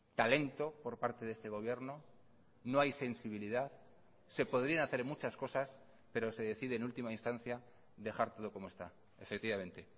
talento por parte de este gobierno no hay sensibilidad se podrían hacer muchas cosas pero se decide en última instancia dejar todo como está efectivamente